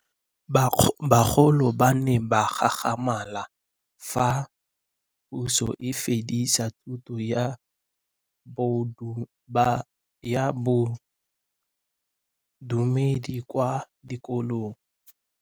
Bagolo ba ne ba gakgamala fa Pusô e fedisa thutô ya Bodumedi kwa dikolong.